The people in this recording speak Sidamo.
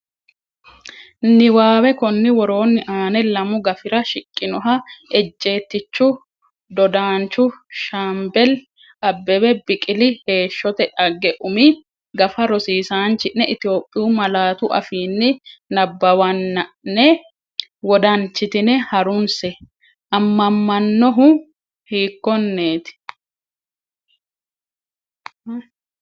Niwaawe Konni woroonni aane lamu gafira shiqqinoha ejjeettichu dodaanchu Shaambeli Abbebe Biqili heeshsote dhagge umi gafa rosiisaanchi’ne Itophiyu malaatu afiinni nabbawanna’ne wodanchitine ha’runse, aamamannohu hiikkonneeti?